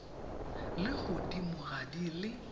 le godimo ga di le